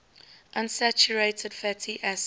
unsaturated fatty acids